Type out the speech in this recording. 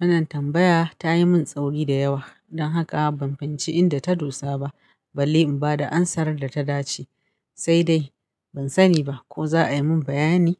Wannan tambaya ta yi min tsauri da yawa don haka ban fahimci inda ta dosa ba balle in ba da amsar da ta dace. Sai dai ban sani ba ko za a yi min bayani.